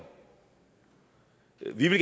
vi ville